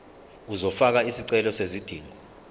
uzofaka isicelo sezidingo